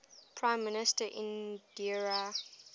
prime minister indira